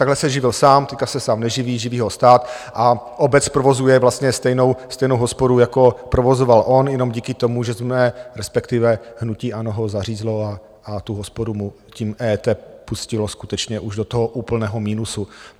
Takhle se živil sám, teď se sám neživí, živí ho stát a obec provozuje vlastně stejnou hospodu, jako provozoval on, jenom díky tomu, že jsme, respektive hnutí ANO ho zařízlo a tu hospodu mu tím EET pustilo skutečně už do toho úplného minusu.